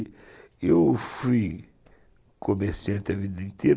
E eu fui comerciante a vida inteira.